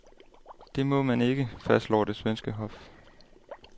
Det må man ikke, fastslår det svenske hof.